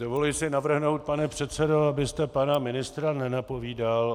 Dovoluji si navrhnout, pane předsedo, abyste pana ministra nenapomínal.